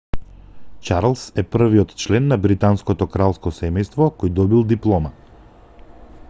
чарлс е првиот член на британското кралско семејство кој добил диплома